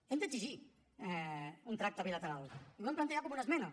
hem d’exigir un tracte bilateral i ho hem plantejat com una esmena